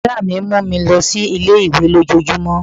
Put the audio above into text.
Brọ̀dá mi máà ń mú mi lọ sí ilé-ìwé lójojúmó